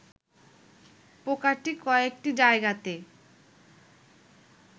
পোকাটি কয়েকটি জায়গাতে